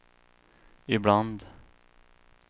ibland